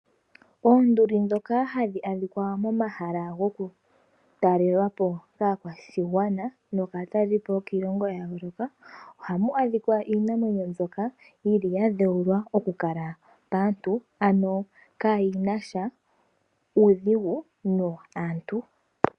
Oonduli ndhoka hadhi adhika momahal agokutalelwa po kaakwashigwana nokaatalelipo yokiilongo ya yooloka ohamu adhika iinamwenyo mbyoka ya dheulwa okukala paantu, ano kayi na sha uudhigu naantu.